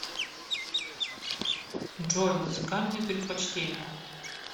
джой музыкальные предпочтения